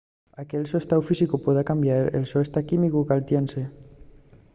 anque’l so estáu físicu pueda cambiar el so estáu químicu caltiénse